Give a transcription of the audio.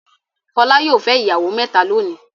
Fọlá yóò fẹ́ ìyàwó mẹ́ta lónìí.